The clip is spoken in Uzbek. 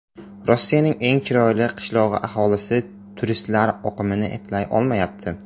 Rossiyaning eng chiroyli qishlog‘i aholisi turistlar oqimini eplay olmayapti.